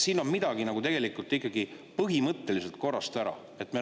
Siin on midagi tegelikult ikkagi põhimõtteliselt korrast ära.